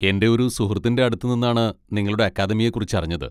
എൻ്റെ ഒരു സുഹൃത്തിൻ്റെ അടുത്ത് നിന്നാണ് നിങ്ങളുടെ അക്കാദമിയെ കുറിച്ച് അറിഞ്ഞത്.